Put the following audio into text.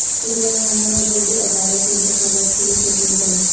تلنگانہ میں بلدی اداروں کے انتخابات کیلئے شیڈول جاری